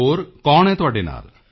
ਹੋਰ ਕੌਣ ਹੈ ਤੁਹਾਡੇ ਨਾਲ